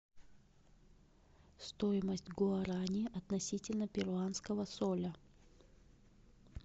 стоимость гуарани относительно перуанского соля